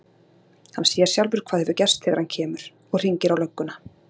Hann sér sjálfur hvað hefur gerst þegar hann kemur. og hringir á lögguna.